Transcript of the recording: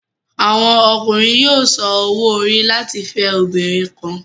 Àwọn Ọkùnrin yóò sàn òwò-ori láti fẹ obìnrin kàn